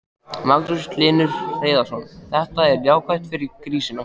Magnús Hlynur Hreiðarsson: Þetta er jákvætt fyrir grísina?